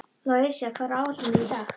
Louisa, hvað er á áætluninni minni í dag?